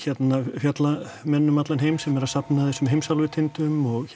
fjallamenn úti um allan heim sem eru að safna þessum heimsálfutindum og